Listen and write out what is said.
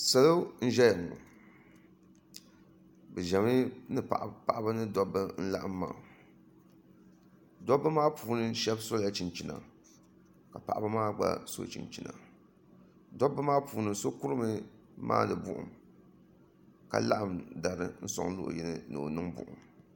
salo n-ʒeya paɣaba ni dabba n-laɣim maa dobba maa puuni shɛba sola chinchina ka paɣaba maa gba so chinchina dobba maa puuni so kurimi m-maani buɣum ka laɣim dari n-sɔŋ luɣ'yini ni o niŋ buɣum ni